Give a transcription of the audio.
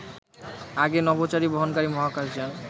আগে নভোচারী বহনকারী মহাকাশ যান